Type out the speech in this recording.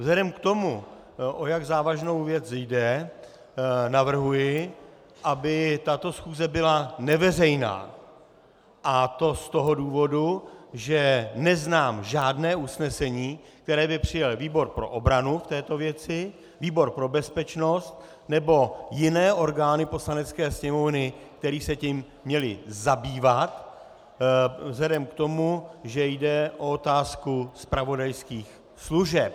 Vzhledem k tomu, o jak závažnou věc jde, navrhuji, aby tato schůze byla neveřejná, a to z toho důvodu, že neznám žádné usnesení, které by přijal výbor pro obranu k této věci, výbor pro bezpečnost nebo jiné orgány Poslanecké sněmovny, které se tím měly zabývat, vzhledem k tomu, že jde o otázku zpravodajských služeb.